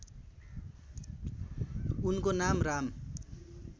उनको नाम राम